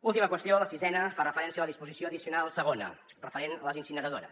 última qüestió la sisena fa referència a la disposició addicional segona referent a les incineradores